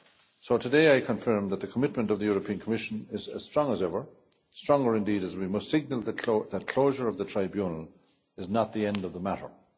So today I confirm that the commitment of the Commission is as strong as ever, stronger indeed, as we must see that the closure of the Tribunal is not the end of the matter.